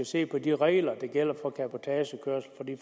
se på de regler der gælder for cabotagekørsel for det